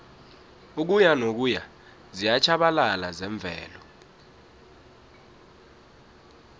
ukuyanokuya ziyatjhabalala zemvelo